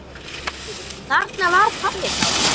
Þarna var pabbi þá.